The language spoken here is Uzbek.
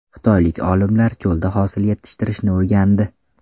Xitoylik olimlar cho‘lda hosil yetishtirishni o‘rgandi.